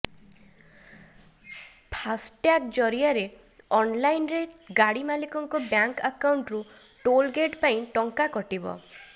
ଫାସଟ୍ୟାଗ୍ ଜରିଆରେ ଅନଲାଇନରେ ଗାଡି ମାଲିକଙ୍କ ବ୍ୟାଙ୍କ ଆକାଉଣ୍ଟ ରୁ ଟୋଲ୍ ଗେଟ୍ ପାଇଁ ଟଙ୍କା କଟିବ